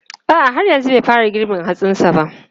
A'a, har yanzu bai fara girbin hatsin sa ba.